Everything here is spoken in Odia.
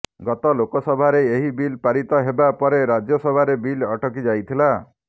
ଗତ ଲୋକସଭାରେ ଏହି ବିଲ୍ ପାରିତ ହେବା ପରେ ରାଜ୍ୟସଭାରେ ବିଲ୍ ଅଟକି ଯାଇଥିଲା